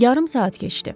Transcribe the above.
Yarım saat keçdi.